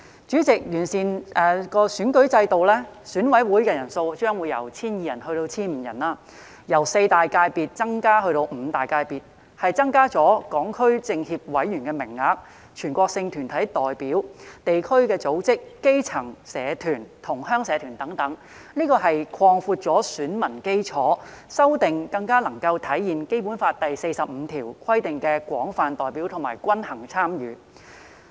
主席，完善選舉制度後，選舉委員會人數將由 1,200 人增至 1,500 人，由四大界別增至五大界別，增加了港區政協委員的名額、全國性團體港區代表、地區組織、基層社團、同鄉社團等，擴闊了選民基礎，修訂將更能體現《基本法》第四十五條規定的廣泛代表及均衡參與。